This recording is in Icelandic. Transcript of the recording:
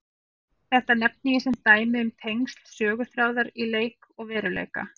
Þetta nefni ég sem dæmi um tengsl söguþráðar í leik og veruleik.